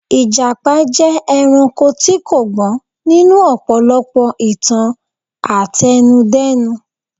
Ìjàpá jẹ́ ẹranko tí kò gbọ́n nínú ọ̀pọ̀lọpọ̀ ìtàn àtẹnudẹ́nu.